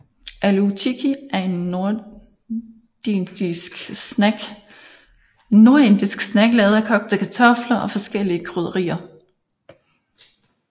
Aloo tikki er en nordindisk snack lavet af kogte kartofler og forskellige krydderier